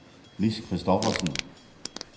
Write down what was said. Lis Christophersen